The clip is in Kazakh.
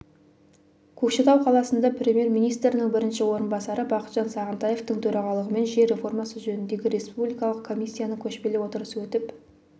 көкшетау қаласында премьер-министрінің бірінші орынбасары бақытжан сағынтаевтың төрағалығымен жер реформасы жөніндегі республикалық комиссияның көшпелі отырысы өтіп